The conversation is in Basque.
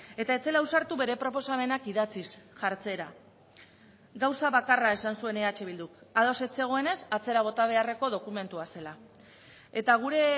eta ez zela ausartu bere proposamenak idatziz jartzera gauza bakarra esan zuen eh bilduk ados ez zegoenez atzera bota beharreko dokumentua zela eta gure